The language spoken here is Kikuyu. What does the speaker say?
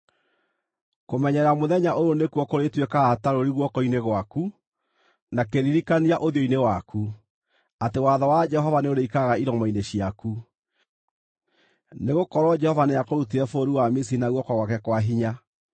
Kũmenyerera mũthenya ũyũ nĩkuo kũrĩtuĩkaga ta rũũri guoko-inĩ gwaku, na kĩririkania ũthiũ-inĩ waku, atĩ watho wa Jehova nĩũrĩikaraga iromo-inĩ ciaku. Nĩgũkorwo Jehova nĩakũrutire bũrũri wa Misiri na guoko gwake kwa hinya.